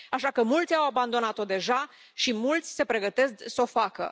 Așa că mulți au abandonat o deja și mulți se pregătesc să o facă.